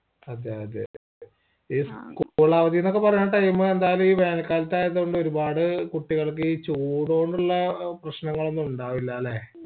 അതെ അതെ ഈ school അവതീന്നൊക്കെ പറഞ്ഞ ഈ time ഈ വേനൽ കാലത്തായത്കൊണ്ട് ഒരുപാട് കുട്ടികൾക്ക് ഈചൂടൊണ്ടുള്ള പ്രശ്നങ്ങളൊന്നുമുണ്ടാവില്ലല്ലേ